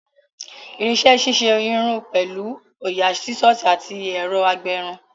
Irinṣẹ́ ṣíṣe irun pẹ̀lú òyà, Sísọ̀sì àti ẹ̀rọ agbẹrun